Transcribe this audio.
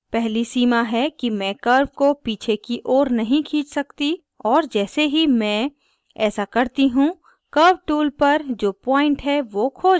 पहली सीमा है कि मैं curve को पीछे की ओर नहीं खींच सकती और जैसे ही मैं ऐसा करती हूँ curve tool पर जो point है one खो जाता है